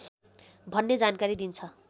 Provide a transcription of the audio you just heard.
भन्ने जानकारी दिन्छ